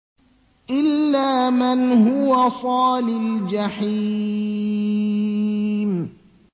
إِلَّا مَنْ هُوَ صَالِ الْجَحِيمِ